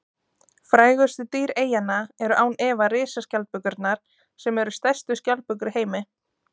Frægustu dýr eyjanna eru án efa risaskjaldbökurnar sem eru stærstu skjaldbökur í heimi.